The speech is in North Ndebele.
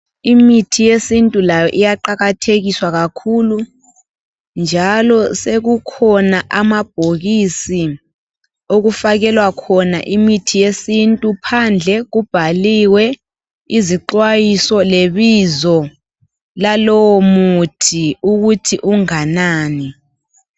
Imithi yesintu layo iyaqakathekiswa kakhulu ,njalo sekukhona amabhokisi okufakelwa khona imithi yesintu .Phandle kubhaliwe izixwayiso lebizo lalowo muthi ukuthi unganani.